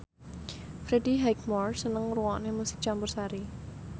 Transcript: Freddie Highmore seneng ngrungokne musik campursari